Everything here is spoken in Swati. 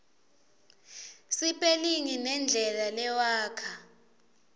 sipelingi nendlela lewakha